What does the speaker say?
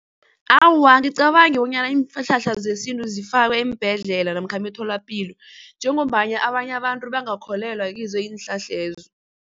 Awa, angicabangi bonyana iinhlahla zesintu zifakwe eembhedlela namkha emitholapilo njengombana abanye abantu bangakholelwa kizo iinhlahlezo.